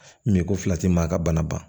Min ko fila ti maa ka bana ban